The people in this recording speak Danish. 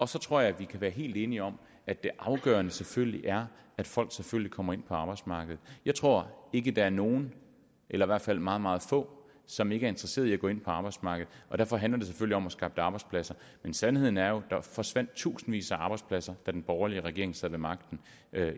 så tror jeg vi kan være helt enige om at det afgørende selvfølgelig er at folk kommer ind på arbejdsmarkedet jeg tror ikke der er nogen eller i hvert fald meget meget få som ikke er interesseret i at gå ind på arbejdsmarkedet og derfor handler det selvfølgelig om at skabe arbejdspladser men sandheden er jo at der forsvandt tusindvis af arbejdspladser da den borgerlige regering sad ved magten